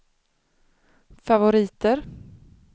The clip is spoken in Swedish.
favoriter